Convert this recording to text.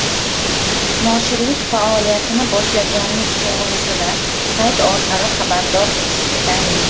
Noshirlik faoliyatini boshlaganlik to‘g‘risida sayt orqali xabardor etish yetarli.